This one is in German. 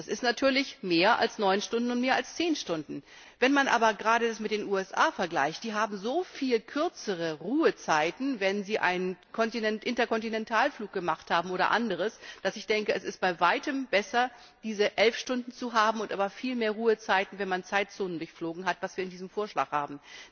Das ist natürlich mehr als neun Stunden und mehr als zehn Stunden. Wenn man das aber gerade mit den USA vergleicht die haben so viel kürzere Ruhezeiten, wenn sie einen Interkontinental Flug oder anderes gemacht haben denke ich, es ist bei weitem besser, diese elf Stunden zu haben und aber viel mehr Ruhezeiten, wenn man Zeitzonen durchflogen hat, was wir in diesem Vorschlag haben.